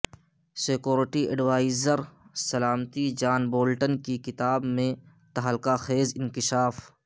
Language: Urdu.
سیکیورٹی ایڈوائزر سلامتی جان بولٹن کی کتاب میںتہلکہ خیزانکشاف